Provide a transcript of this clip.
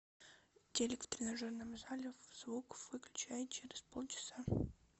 телик в тренажерном зале звук выключай через полчаса